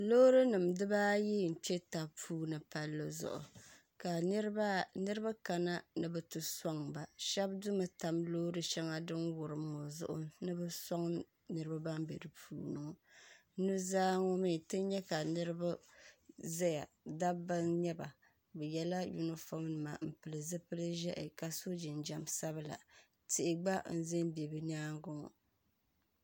Loorinima dibaayi n-kpe taba puuni palli zuɣu ka niriba kana ni bɛ ti sɔŋ ba shɛba di mi tam loori shɛŋa din wurim ŋɔ zuɣu ni bɛ sɔŋ niriba ban be di puuni maa nu' zaa ŋɔ mi ti nya ka niriba zaya dabba n-nyɛ ba bɛ ye la yunifɔm nima ka pili zupili'ʒiɛhi ka so jinjam sabilla tihi gba m-be m-be bɛ nyaaŋa ŋɔ